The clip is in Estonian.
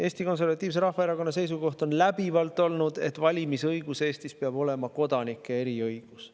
Eesti Konservatiivse Rahvaerakonna seisukoht on läbivalt olnud see, et valimisõigus Eestis peab olema kodanike eriõigus.